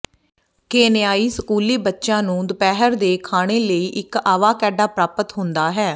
ਕੇਨਈਆਈ ਸਕੂਲੀ ਬੱਚਿਆਂ ਨੂੰ ਦੁਪਹਿਰ ਦੇ ਖਾਣੇ ਲਈ ਇੱਕ ਆਵਾਕੈਡਾ ਪ੍ਰਾਪਤ ਹੁੰਦਾ ਹੈ